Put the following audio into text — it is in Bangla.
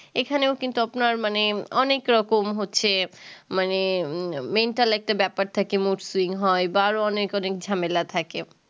এখানেও কিন্তু আপনার মানে অনেক রকম হচ্ছে মানে mental একটা ব্যাপার থাকে মসৃন হয় বারও অনেক ঝামেলা থাকে